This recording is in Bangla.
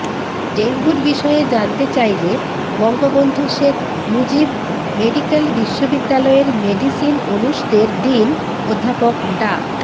ডেঙ্গুর বিষয়ে জানতে চাইলে বঙ্গবন্ধু শেখ মুজিব মেডিক্যাল বিশ্ববিদ্যালয়ের মেডিসিন অনুষদের ডিন অধ্যাপক ডা